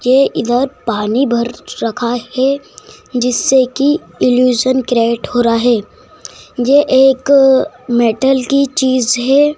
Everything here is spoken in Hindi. ये इधर पानी भर रखा है जिससे कि इल्यूसन क्रिएट हो रहा है ये एक मेटल की चीज है।